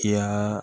Kiya